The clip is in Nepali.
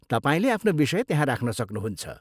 तपाईँले आफ्नो विषय त्यहाँ राख्न सक्नुहुन्छ।